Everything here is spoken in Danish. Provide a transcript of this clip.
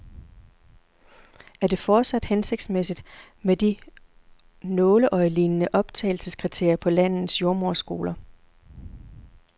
Er det fortsat hensigtsmæssigt med de nåleøjelignende optagelseskriterier på landets jordemoderskoler?